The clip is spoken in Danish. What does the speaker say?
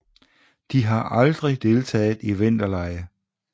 De har aldrig deltaget i vinterlege